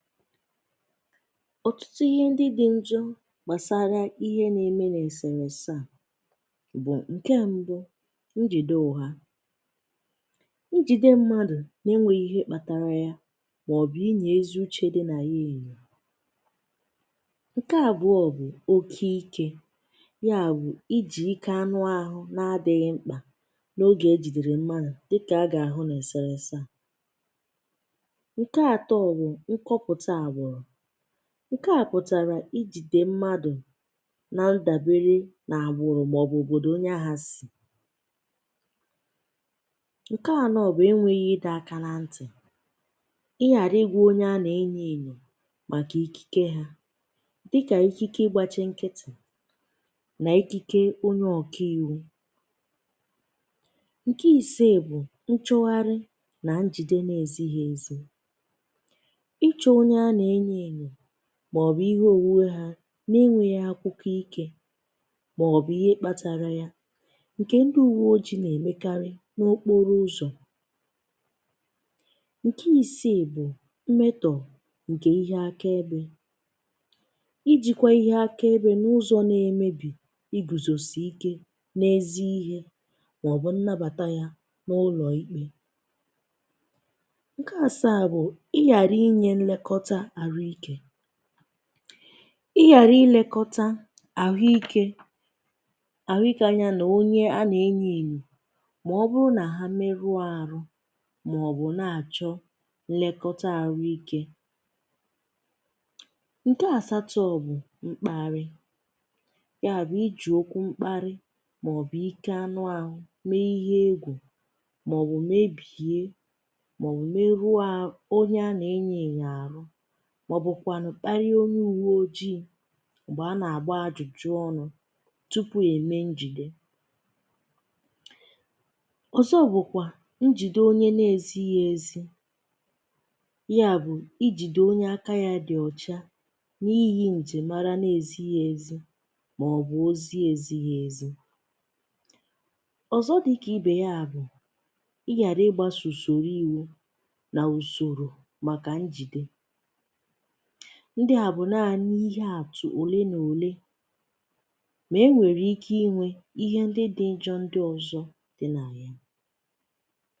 Ọ̀tụtụ ihe ndị dị̇ njọ gbàsara ihe na-eme n’èsèrèsè a, bụ̀ ǹkè mbụ, Njìde uha. Njìde mmadụ̀ na-enwėghi ihe kpatara ya màọ̀bù inyo ezi uchè dị na ya ènyò. Ǹkè àbụọ bụ̀ oke ike, ya bụ̀ ijì ike anụ àhụ n’adị̇ghị̇ mkpà n’ogè ejìdèrè mmanù dịkà agà-àhụ n’èsèrèsè a. Ǹke àto bụ̀ nkọpụta agbụrụ. Nke a pụ̀tàrà i jìdè mmadụ̀ na ndàbere n’àgbụrụ̀ màọbụ̀ òbòdò onye ahụ̀ sì. Ǹke anọ bụ̀ enweghị ịdọ aka na ntị, ịghara ịgwa onye a na-enyo enyo maka ikike ha dịka ikike ịgbachi nkịtị na ikike onye ọkaiwu. Ǹke ise bụ̀ nchụgharị na njide na-ezighi ezi. Ịchụ onye a na-enyo enyo màọ̀bụ̀ ihe òwùwe ha n’enweghị̇ akwụkwọ ikė màọ̀bụ̀ ihe kpȧtȧrȧ ya ǹkè ndị ùwùwe oji̇ nà-èmekarị n’okporo ụzọ̀. Ǹkè ìsiì bụ̀ mmetọ̀ ǹkè ihe aka ebė. Ijikwa ihe aka ebė n’ụzọ̇ na-emebì igùzòsì ike n’ezi ihe màọ̀bụ̀ nnabàta ya n’ụlọ̀ ikpė. Ǹke asaa bụ̀ ị ghara inye nlekọta àrụikė. I ghara ilekọta àhụikė àhụikė anya nà onye a nà-enyo ènyo màọ̀bụrụ nà ha meru àrụ màọ̀bụ̀ na-àchọ nlekọta àlụikė. Ǹke àsaàtọ bụ̀ mkpȧrị̇, yà bụ̀ iji̇ okwu mkparị màọ̀bụ̀ ike anụ àhụ mee ihe egwù màọ̀bụ̀ mebìie màọ̀ meru àhụ onye a nà-enyo enyo àrụ, màọbụ̀kwànụ̀ kparịa onye ùwe ojii̇ m̀gbè a nà-àgba ajụ̀jụ̀ ọnụ̇ tupu è mee njìde. Ọ̀zọ bụ̀kwà njìde onye na-èzighi ezi, ya bụ̀ i jìde onye aka ya dị̀ ọ̀cha n’ihi njimara na-èzighi ezi màọbụ̀ ozi èzighi ezi. Ọ̀zọ dị̇ kà i bè ya bụ̀ ịghàrà ịgbȧsụ̀ sòrò iwu nà usòrò màkà njìde. Ndị à bụ̀ naanị̇ ihe àtụ̀ ole na ole ma e nwèrè ike inwė ihe ndị dị̇ ǹjọ ndị ọzọ̇ dị nà ya.